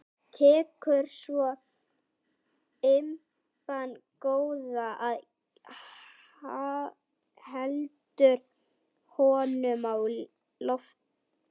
Tekur svo lampann góða og heldur honum á lofti.